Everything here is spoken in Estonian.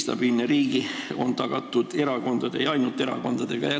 Stabiilne riik on tagatud erakondade ja ainult erakondadega.